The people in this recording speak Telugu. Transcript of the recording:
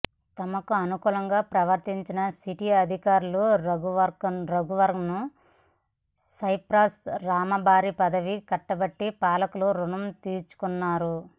తమకు అనుకూలంగా ప్రవర్తించిన సిట్ అధికారి రాఘవన్కు సైప్రస్ రాయబారి పదవి కట్టబెట్టి పాలకులు రుణం తీర్చు కున్నారు